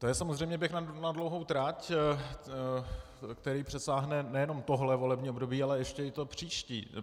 To je samozřejmě běh na dlouhou trať, který přesáhne nejen tohle volební období, ale ještě i to příští.